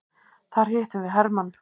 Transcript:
Þar hittum við hermann.